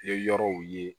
Ye yɔrɔw ye